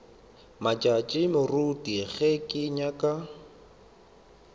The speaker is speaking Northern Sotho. matšatši moruti ge ke nyaka